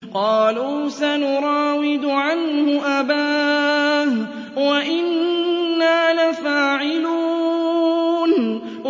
قَالُوا سَنُرَاوِدُ عَنْهُ أَبَاهُ وَإِنَّا لَفَاعِلُونَ